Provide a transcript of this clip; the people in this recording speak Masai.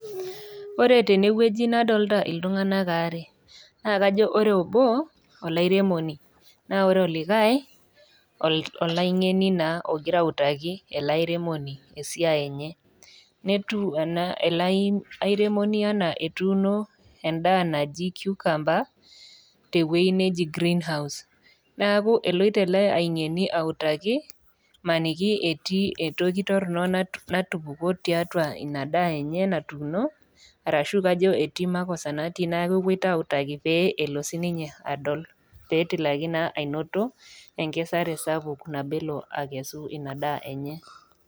Ore tenewueji nadolta iltung'anak aare naa kajo ore obo olairemoni naa ore olikae naa ol olaing'eni naa ogirae autaki ele airemoni esiai enye netu ena ele airemoni anaa etuuno endaa naji cucumber tewueji neji greenhouse naku eloito ele aing'eni autaki maniki etii entoki torrono natupukuo tiatua ina daa enye natuno arashu kajo etii makosa natii na kepuoito autaki pee elo sininye adol petilaki naa ainoto enkesare sapuk nabelo akesu ina daa enye.